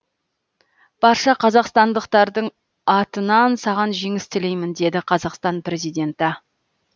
барша қазақстандықтардың атынан саған жеңіс тілеймін деді қазақстан президенті